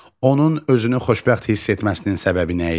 Onun özünü xoşbəxt hiss etməsinin səbəbi nə idi?